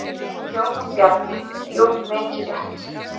Jóhann Bjarni: Jú mikið rétt.